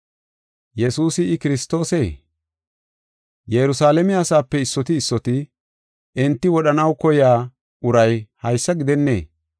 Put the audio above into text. Yerusalaame asaape issoti issoti, “Enti wodhanaw koyiya uray haysa gidennee?